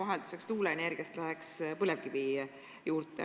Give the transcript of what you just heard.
Ma vahelduseks lähen tuuleenergia juurest põlevkivi juurde.